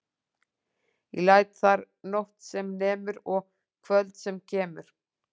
Ég læt þar nótt sem nemur og kvöld sem kemur.